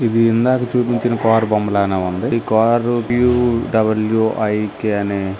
ఇది ఇందాక చూపించిన కారు బొమ్మలానే ఉంది ఇది car U double U I K అని--